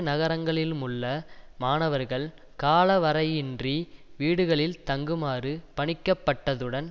நகரங்களிலுமுள்ள மாணவர்கள் காலவரையின்றி வீடுகளில் தங்குமாறு பணிக்கப்பட்டதுடன்